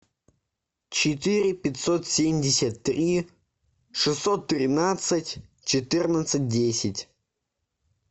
четыре пятьсот семьдесят три шестьсот тринадцать четырнадцать десять